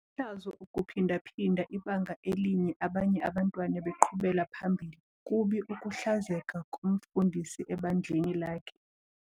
Lihlazo ukuphinda-phinda ibanga elinye abanye abantwana beqhubela phambili. kubi ukuhlazeka komfundisi ebandleni lakhe